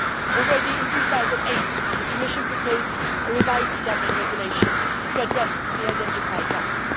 Already in 2008, the Commission proposed a revised Dublin regulation to address the identified gaps.